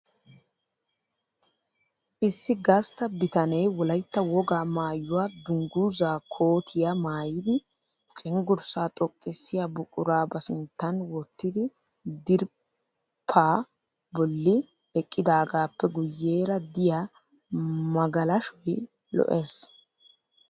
Issi gastta bitanee Wolaytta wogaa maayyuwaa dunguzaa kootiya maayidi cengurssaa xoqqissiya buqura ba sinttan wottidi diriphpha bolli eqqidaagaappe guyyeera diya magalashoy lo'es.